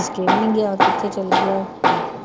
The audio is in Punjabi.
ਕੇ ਵੀ ਨੀ ਗਿਆ ਕਿੱਥੇ ਚਲੇ ਗਿਆ